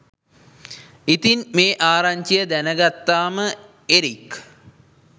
ඉතින් මේ ආරංචිය දැනගත්තාම එරික්